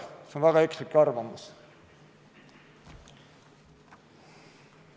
See on väga ekslik arvamus.